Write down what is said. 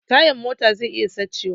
Tayan mota zai iya sace wa